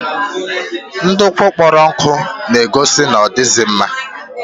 Ndukwu kpọrọ nkụ na-egos na odaghịzi mma